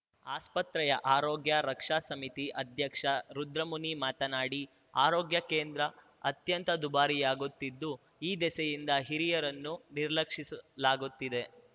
ಆಸ್ಪತ್ರೆಯ ಆರೋಗ್ಯ ರಕ್ಷಾ ಸಮಿತಿ ಅಧ್ಯಕ್ಷ ರುದ್ರಮುನಿ ಮಾತನಾಡಿ ಆರೋಗ್ಯ ಕೇಂದ್ರಾ ಅತ್ಯಂತ ದುಬಾರಿಯಾಗುತ್ತಿದ್ದು ಈ ದಿಸೆಯಿಂದ ಹಿರಿಯರನ್ನು ನಿರ್ಲಕ್ಷಿಸಲಾಗುತ್ತಿದೆ